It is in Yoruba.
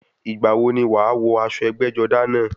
Ìgbà wo ni wàá wọ aṣọ ẹgbẹ́-jọdá náà?